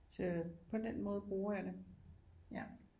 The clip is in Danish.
Så på den måde bruger jeg det ja